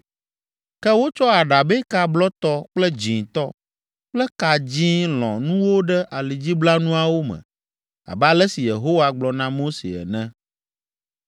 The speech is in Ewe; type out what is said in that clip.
Ke wotsɔ aɖabɛka blɔtɔ kple dzĩtɔ kple ka dzĩ lɔ̃ nuwo ɖe alidziblanuawo me abe ale si Yehowa gblɔ na Mose ene.